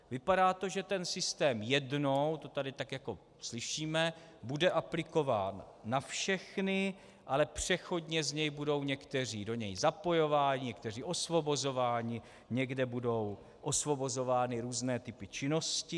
Vypadá to, že ten systém jednou, to tady tak jako slyšíme, bude aplikován na všechny, ale přechodně z něj budou někteří do něj zapojováni, někteří osvobozováni, někde budou osvobozovány různé typy činnosti.